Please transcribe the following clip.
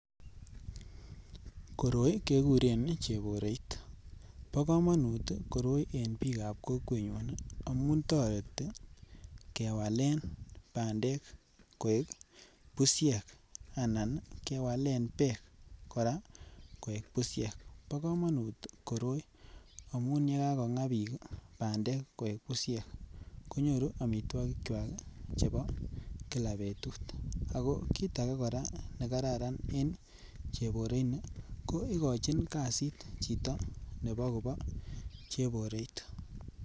Koroi kekuren cheboroit bo komonut koroi en biikab kokwengunyun ii amun toretin kewalen bandek koik bushek anan ii kewalen beek koraa koik bushek. Bo komonut koroi amun yee kakogaa biik bandek koik bushek konyoru omitwikikywak chebo kila betut, kit age koraa nekararn koraa en chebore nii ko igichin kazit chito nebo kobo cheboroit